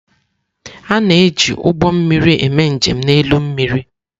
A na-eji ụgbọ mmiri eme njem n'elu mmiri.